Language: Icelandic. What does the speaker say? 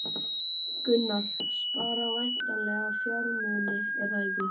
Gunnar: Spara væntanlega fjármuni, er það ekki?